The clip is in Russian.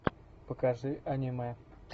покажи аниме